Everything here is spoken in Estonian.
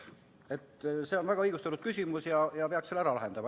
See on väga õigustatud küsimus ja selle peaks ära lahendama.